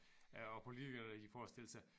Øh og politikkerne de forestillede sig